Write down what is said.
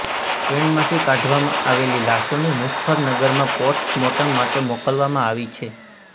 ટ્રેનમાંથી કાઢવામાં આવેલી લાશોને મુઝફ્ફરનગરમાં પોસ્ટમોર્ટમ માટે મોકલવામાં આવી છે